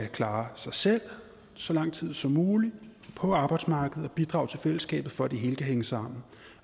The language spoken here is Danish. klare sig selv så lang tid som muligt på arbejdsmarkedet og bidrage til fællesskabet for at det hele kan hænge sammen